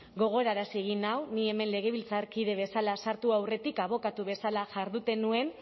gogorarazi egin nau ni hemen legebiltzarkide bezala sartu aurretik abokatu bezala jarduten nuen